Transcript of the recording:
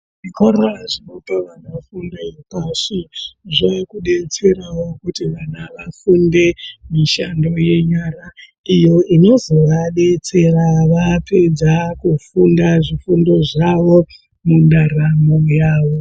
Zvikora zvinope vana fundo pashi zvakudetserawo kuti vana vafunde mishando yenyara iyo inozovadetsera vapedza kufunda zvifundo zvawo mundaramo yawo.